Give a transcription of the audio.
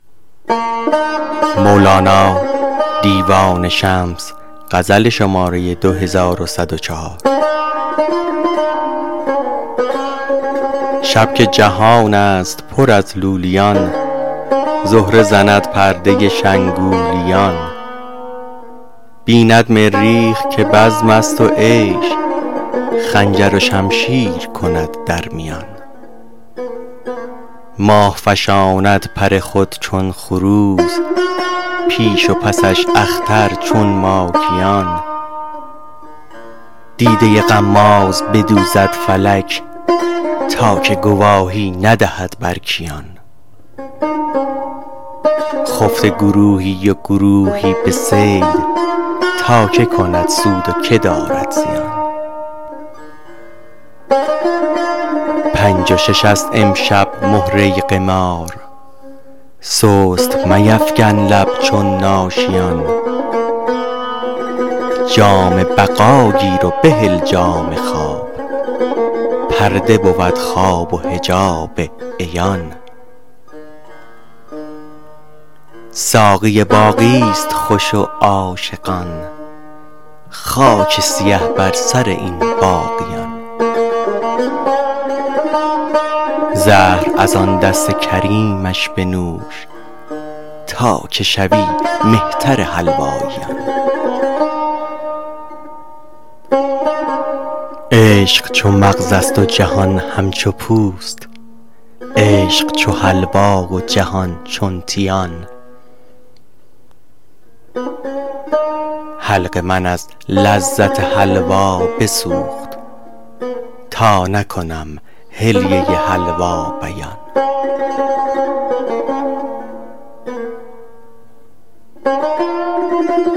شب که جهان است پر از لولیان زهره زند پرده شنگولیان بیند مریخ که بزم است و عیش خنجر و شمشیر کند در میان ماه فشاند پر خود چون خروس پیش و پسش اختر چون ماکیان دیده غماز بدوزد فلک تا که گواهی ندهد بر کیان خفته گروهی و گروهی به صید تا کی کند سود و کی دارد زیان پنج و شش است امشب مهره قمار سست میفکن لب چون ناشیان جام بقا گیر و بهل جام خواب پرده بود خواب و حجاب عیان ساقی باقی است خوش و عاشقان خاک سیه بر سر این باقیان زهر از آن دست کریمش بنوش تا که شوی مهتر حلواییان عشق چو مغز است جهان همچو پوست عشق چو حلوا و جهان چون تیان حلق من از لذت حلوا بسوخت تا نکنم حلیه حلوا بیان